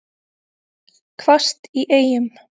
Hvasst í Eyjum